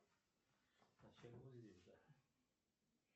джой пользование кредитной картой без процентов